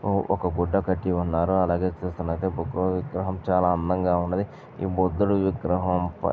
ఆ ఒక గుడ్డ కట్టి ఉన్నారు అలాగే చూస్తున్న బుద్ధుని విగ్రహం చాలా అందంగా ఉన్నదీ. ఈ బుద్ధుడి విగ్రహం ప --